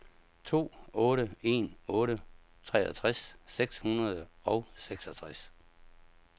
to otte en otte treogtres seks hundrede og seksogtres